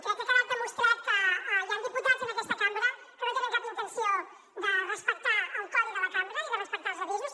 crec que ha quedat demostrat que hi han diputats en aquesta cambra que no tenen cap intenció de respectar el codi de la cambra ni de respectar els avisos